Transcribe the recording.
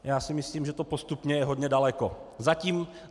Já si myslím, že to postupně je hodně daleko.